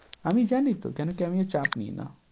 আমি জানি তো কেন কী আমিও চাপ নিই না।